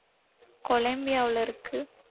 கொலம்பியாவுல இருக்கு